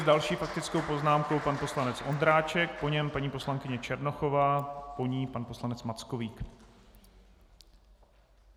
S další faktickou poznámkou pan poslanec Ondráček, po něm paní poslankyně Černochová, po ní pan poslanec Mackovík.